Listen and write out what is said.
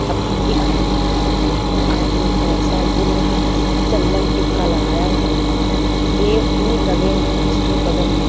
अथा दिख रहा है वो आदमी पैसा गिन रहा है चंदन टीका लगाया हुआ है। सेब भी लगे हुए हैं उसके बगल में।